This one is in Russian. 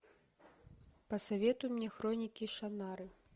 посоветуй мне хроники шаннары